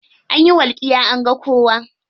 Anyi walƙiya an ga kowa.